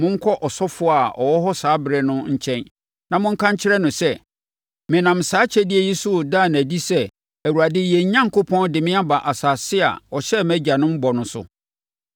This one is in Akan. Monkɔ ɔsɔfoɔ a ɔwɔ hɔ saa ɛberɛ no nkyɛn na monka nkyerɛ no sɛ, “Menam saa akyɛdeɛ yi so reda no adi sɛ Awurade, yɛn Onyankopɔn, de me aba asase a ɔhyɛɛ mʼagyanom bɔ no so.”